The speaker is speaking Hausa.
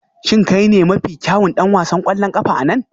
Shin kai ne mafi kyawun ɗan wasan ƙwallon ƙafa a nan?